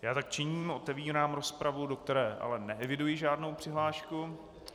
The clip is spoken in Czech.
Já tak činím, otevírám rozpravu, do které ale neeviduji žádnou přihlášku.